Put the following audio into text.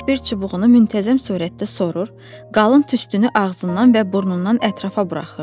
Böyük bir çubuğunu müntəzəm surətdə sorur, qalın tüstünü ağzından və burnundan ətrafa buraxırdı.